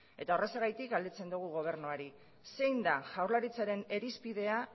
eta horrexegatik galdetzen dugu gobernuari zein da jaurlaritzaren irizpidea